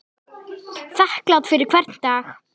Þakklát fyrir hvern dag.